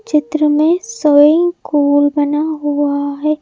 चित्र में swing pool बना हुआ है।